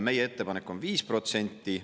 Meie ettepanek on 5%.